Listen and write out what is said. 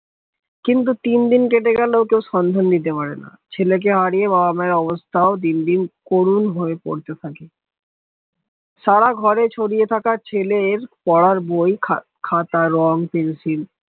কিন্তু তিনদিন কেটে গেল কেউ সন্ধান দিতে পারেনা ছেলেকে হারিয়ে যাওয়া ব্যবস্থাও দিনদিন করুন হয়ে পড়তে থাকে সারা ঘরে ছড়িয়ে থাকার ছেলের পড়ার বই খাতা রং পেন্সিল